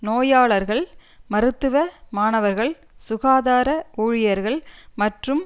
நோயாளர்கள் மருத்துவ மாணவர்கள் சுகாதார ஊழியர்கள் மற்றும்